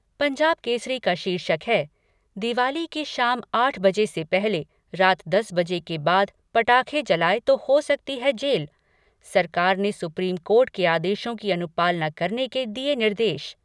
पंजाब केसरी का शीर्षक है दिवाली की शाम आठ बजे से पहले रात दस बजे के बाद पटाखे जलाए तो हो सकती है जेल, सरकार ने सुप्रीम कोर्ट के आदेशों की अनुपालना करने के दिए निर्देश।